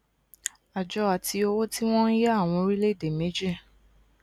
àjọ ati owó tí wọn ń yá àwọn orílẹèdè méjì